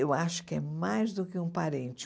Eu acho que é mais do que um parente.